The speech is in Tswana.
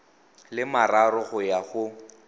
le mararo go ya go